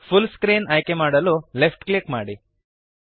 full screen ಆಯ್ಕೆಮಾಡಲು left click ಮಾಡಿರಿ